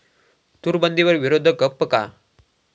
तूरबंदीवर विरोधक गप्प का?